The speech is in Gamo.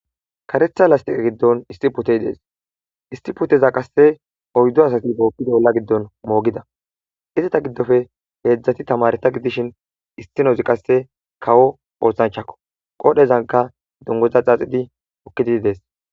Kareththa lastiqe gidon issi putey des Issi puteza qase oyddu asati bokkid ola gidon mogida izeta gidoppe hezaati tamareta gidishin issinoz qase kawo osanchchakko qodhezankka dunguza xaxidi utidi des